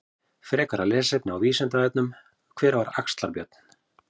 Frekara lesefni á Vísindavefnum: Hver var Axlar-Björn?